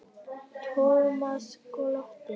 Thomas glotti.